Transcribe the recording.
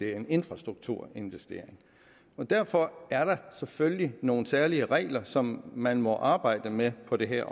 er en infrastrukturinvestering derfor er der selvfølgelig nogle særlige regler som man må arbejde med på det her